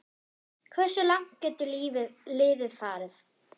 Hversu langt getur liðið farið?